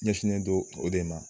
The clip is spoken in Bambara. Ɲɛsnen don o de ma.